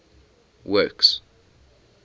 works